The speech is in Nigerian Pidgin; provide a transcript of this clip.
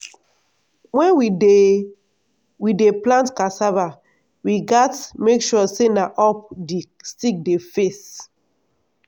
wen we dey we dey plant cassava we gats make sure say na up di stick dey face.